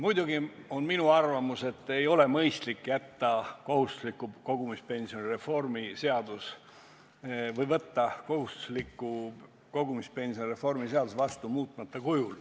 Muidugi on minu arvamus, et ei ole mõistlik jätta kohustusliku kogumispensioni reformi seadus selliseks, nagu ta on, ehk siis võtta kohustusliku kogumispensioni reformi seadus vastu muutmata kujul.